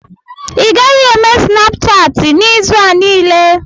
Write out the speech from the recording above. ị gaghị eme Snapchatị n'izu a niile